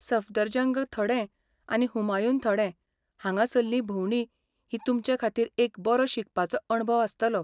सफदरजंग थडें आनी हुमायून थडें हांगासल्ली भोंवडी ही तुमचेखातीर एक बरो शिकपाचो अणभव आसतलो.